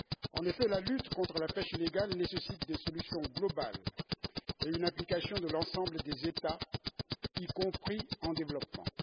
En effet, la lutte contre la pêche illégale nécessite des solutions globales et une implication de l'ensemble des États, y compris en développement.